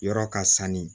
Yɔrɔ ka sanu